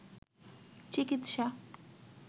চিকিৎসা